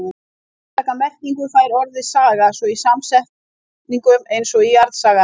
Sérstaka merkingu fær orðið saga svo í samsetningum eins og jarðsaga.